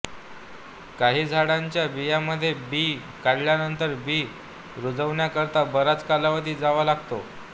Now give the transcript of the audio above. काही झाडांच्या बियाण्यामध्ये बी काढल्यानंतर बी रुजवणीकरता बराच कालावधी जावा लागतो